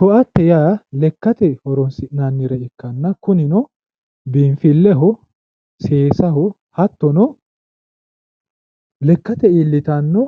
Koatte yaa lekkate horonsi'nanni ikkanna kunino, biinfilleho, seesaho hattono, lekkate iillitanno